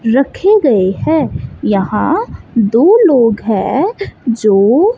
रखे गए हैं। यहां दो लोग है जो--